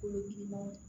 Olu girinma ye